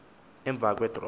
emva kwe draw